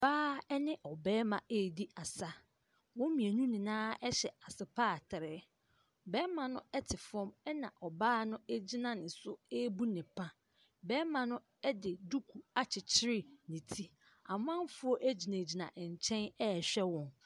Ↄbaa ne ɔbarima redi asa. Wɔn mmienu nyinaa hyɛ asepaatre. Ↄbarima no te fam ɛna ɔbaa no gyina ne so rebu ne pa. Ↄbarima no de duku akyekere ne ti. Amanfoɔ gyinagyina nkyɛn rehwɛ wɔn.